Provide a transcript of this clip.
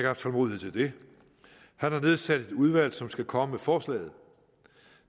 haft tålmodighed til det han har nedsat et udvalg som skal komme med forslaget